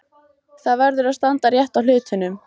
Það verður að standa rétt að hlutunum.